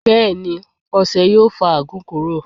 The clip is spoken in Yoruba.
Bẹẹni, ọṣẹ yo fo ààgún kuro